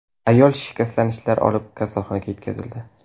Ayol shikastlanishlar olib, kasalxonaga yetkazildi.